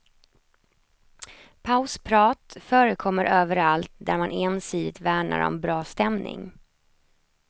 Pausprat förekommer överallt där man ensidigt värnar om bra stämning.